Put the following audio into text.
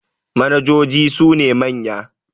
manojoji sune manya